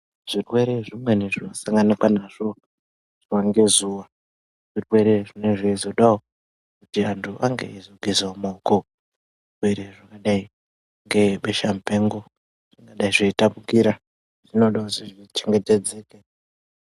Zvirwere zvimweni zvinosanganikwa nazvo zuwa ngezuwa zvirwere zvinenge zveizodawo kuti antu ange eizogezawo maoko, zvirwere zvinodai ngebesha mupengo zvinodai zveitapukira zvinoda kuzo chengetedze .